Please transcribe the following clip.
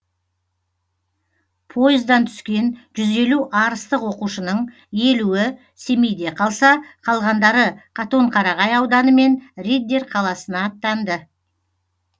пойыздан түскен жүз елу арыстық оқушының елуі семейде қалса қалғандары қатонқарағай ауданы мен риддер қаласына аттанды